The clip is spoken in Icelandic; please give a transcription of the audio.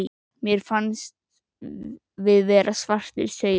Mér fannst við vera svartir sauðir.